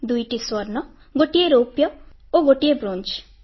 ଦୁଇଟି ସ୍ୱର୍ଣ୍ଣ ଗୋଟିଏ ରୌପ୍ୟ ଓ ଗୋଟିଏ ବ୍ରୋଞ୍ଜ